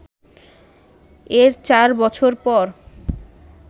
এর চার বছর পর